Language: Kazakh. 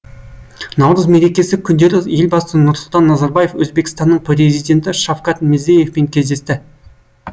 наурыз мерекесі күндері елбасы нұрсұлтан назарбаев өзбекстанның президенті шавкат мирзияевпен кездесті